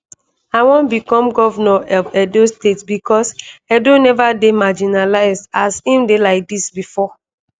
i wan become govnor of edo state becos edo never dey marginalised as im dey like dis bifor